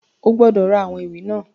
O gbọ́dọ̀ ra àwọn ìwé náà!